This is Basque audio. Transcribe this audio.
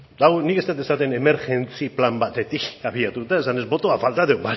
eta hau nik ez dut esaten emergentzi plan batetik abiatuta esanez bota falta da bale